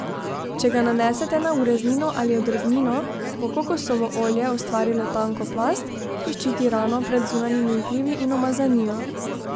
Če ga nanesete na ureznino ali odrgnino, bo kokosovo olje ustvarilo tanko plast, ki ščiti rano pred zunanjimi vplivi in umazanijo.